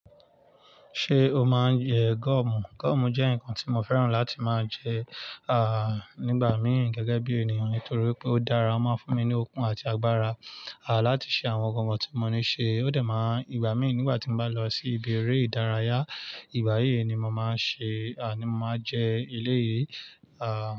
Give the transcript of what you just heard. Ṣé o máa ń jẹ gúọ̀mù? Gúọ̀mù jẹ́ nǹkan tí mo fẹ́ràn láti máa jẹ, nígbà míì gẹ́gẹ́ bí ènìyàn nitorí pé ó dára, ó máa ń fún mi ní okun àti agbára, láti ṣe àwọn nǹkan tí mo ní ṣe. Ó dẹ̀ máa, ìgbà míì nígbà tí mo bá lọ sí ibi eré ìdárayá, ìgbáyéè ni mo máa ń ṣe, ni mo máa jẹ elé yìí,